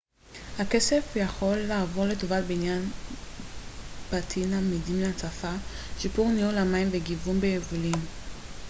הכסף יכול לעבור לטובת בניית בתים עמידים להצפה שיפור ניהול המים וגיוון ביבולים